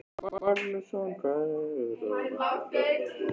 Magnússon sem einnig var ráðherra um tíma.